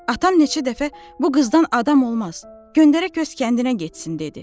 Atam neçə dəfə bu qızdan adam olmaz, göndərə qız kəndinə getsin dedi.